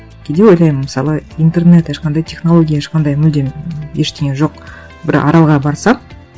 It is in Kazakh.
кейде ойлаймын мысалы интернет ешқандай технология ешқандай мүлдем ештеңе жоқ бір аралға барсақ